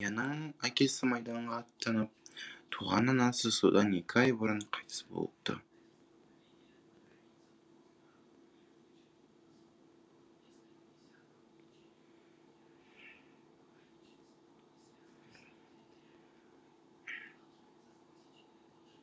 аянның әкесі майданға аттанып туған анасы содан екі ай бұрын қайтыс болыпты